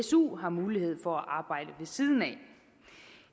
su har mulighed for at arbejde ved siden af